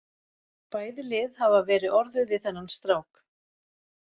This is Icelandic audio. Bæði lið hafa verið orðuð við þennan strák.